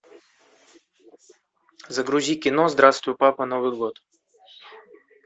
загрузи кино здравствуй папа новый год